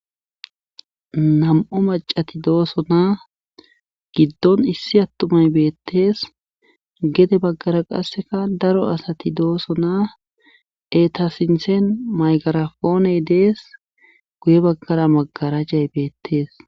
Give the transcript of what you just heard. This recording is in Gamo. Nam'o macati doosona giddon issi attumay beettees gede baggara qasseka daro asati doosona etasinthen maygarafooney dees guye baggara maggarajjay beettees.